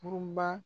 Kurun ba